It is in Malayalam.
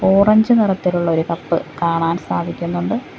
ഓറഞ്ച് നിറത്തിലുള്ളൊരു കപ്പ് കാണാൻ സാധിക്കുന്നുണ്ട്.